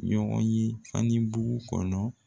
Ɲɔgɔn ye Fanibu kɔnɔ